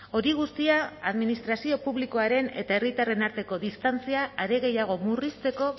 hori guztia administrazio publikoaren eta herritarren arteko distantzia are gehiago murrizteko